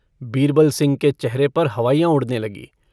बीरबल सिंह के चेहरे पर हवाइयाँ उड़ने लगीं।